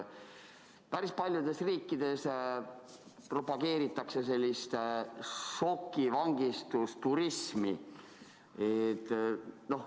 Päris paljudes riikides propageeritakse šokivangistusturismi.